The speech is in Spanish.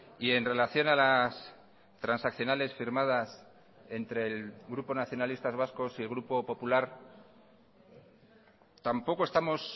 y en relación a las transaccionales firmadas entre el grupo nacionalistas vascos y el grupo popular tampoco estamos